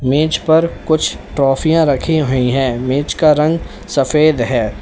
मेज पर कुछ ट्राफियां रखी हुई है मेज का रंग सफेद है।